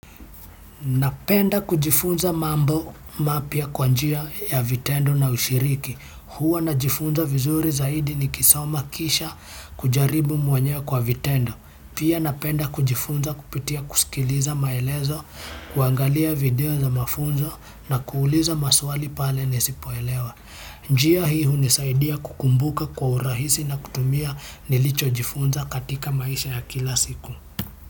Napenda kujifunza mambo mapya kwa njia ya vitendo na ushiriki. Huwa najifunza vizuri zaidi nikisoma kisha kujaribu mwenyewe kwa vitendo. Pia napenda kujifunza kupitia kusikiliza maelezo, kuangalia video za mafunzo na kuuliza maswali pale nisipoelewa. Njia hii hunisaidia kukumbuka kwa urahisi na kutumia nilichojifunza katika maisha ya kila siku.